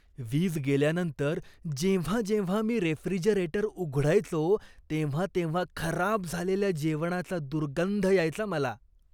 वीज गेल्यानंतर जेव्हा जेव्हा मी रेफ्रिजरेटर उघडायचो, तेव्हा तेव्हा खराब झालेल्या जेवणाचा दुर्गंध यायचा मला.